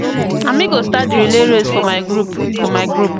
Na me go start di relay race for my group. for my group.